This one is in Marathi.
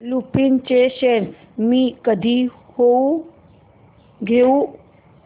लुपिन चे शेअर्स मी कधी घेऊ